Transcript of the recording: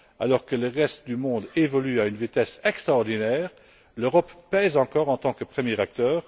Alors que le reste du monde évolue à une vitesse extraordinaire, l'Europe pèse encore en tant que premier acteur.